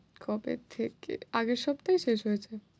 কবে থেকে, আগের সপ্তাহেই শেষ হয়েছে।